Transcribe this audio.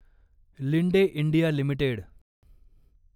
Linde India limited